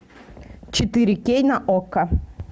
четыре кей на окко